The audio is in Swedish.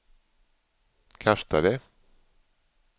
kastade